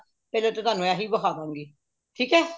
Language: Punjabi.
ਪਹਿਲਾ ਤਾ ਤੁਹਾਨੂੰ ਇਹ ਹੀ ਵਖਾ ਦਾਗੀ ਠੀਕ ਹੈ